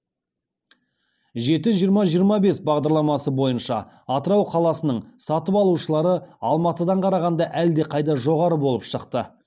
жеті жиырма жиырма бес бағдарламасы бойынша атырау қаласының сатып алушылары алматыдан қарағанда әлдеқайда жоғары болып шықты